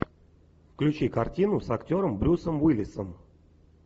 включи картину с актером брюсом уиллисом